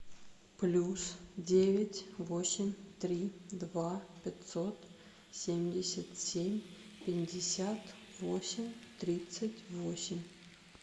плюс девять восемь три два пятьсот семьдесят семь пятьдесят восемь тридцать восемь